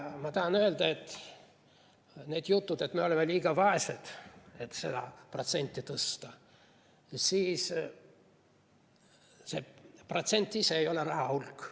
Ma tahan öelda, et kui on jutud, et me oleme liiga vaesed, et seda protsenti tõsta, siis see protsent ise ei ole raha hulk.